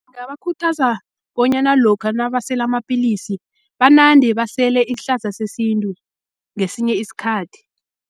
Ngingabakhuthaza bonyana lokha nabasela amapilisi, banande basele isihlahla sesintu ngesinye isikhathi.